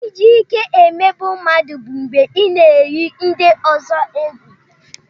Iji ìké emegbu mmadụ bụ mgbe ị na-éyi ndị ọzọ egwu